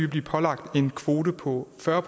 blive pålagt en kvote på fyrre